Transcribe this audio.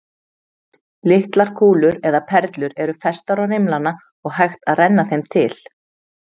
Litlar kúlur eða perlur eru festar á rimlana og hægt að renna þeim til.